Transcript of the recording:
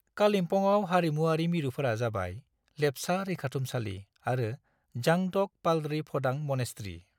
कालिम्पङाव हारिमुआरि मिरुफोरा जाबाय, लेप्चा रैखाथुमसालि आरो जां ढ'क पालरी फ'डां मनेस्ट्री।